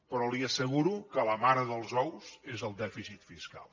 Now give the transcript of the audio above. però li asseguro que la mare dels ous és el dèficit fiscal